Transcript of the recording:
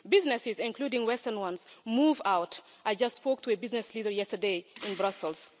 Businesses, including Western ones, move out I just spoke to a business leader yesterday in Brussels.